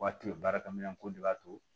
Waati o ye baarakɛminɛnko de b'a to